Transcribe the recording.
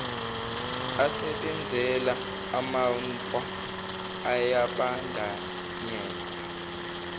asebenzela amanpo ayabandanyeka